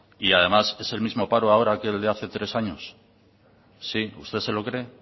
además es el mismo paro ahora que el de hace tres años sí usted se lo cree